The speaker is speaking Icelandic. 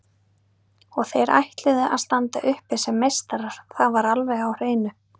Og þeir ætluðu að standa uppi sem meistarar, það var alveg á hreinu.